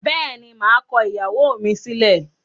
Bẹ́ẹ̀ni, maa kọ ìyàwó mi sílẹ̀.